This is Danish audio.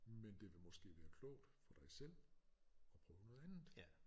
Men det vil måske være klogt for dig selv at prøve noget andet